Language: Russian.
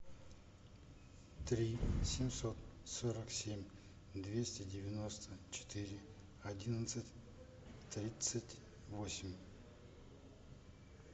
три семьсот сорок семь двести девяносто четыре одиннадцать тридцать восемь